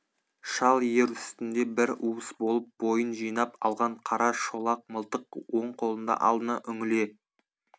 шал ер үстінде бір уыс болып бойын жинап алған қара шолақ мылтық оң қолында алдына үңіле